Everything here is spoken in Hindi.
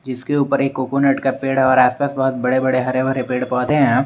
इसके ऊपर एक कोकोनट का पेड़ और आस पास बहुत बड़े बड़े हरे भरे पेड़ पौधे हैं।